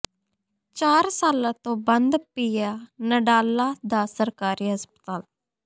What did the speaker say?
ਚਾਰ ਸਾਲਾਂ ਤੋਂ ਬੰਦ ਪਿਐ ਨਡਾਲਾ ਦਾ ਸਰਕਾਰੀ ਹਸਪਤਾਲ